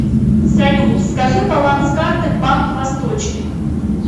салют скажи баланс карты банк восточный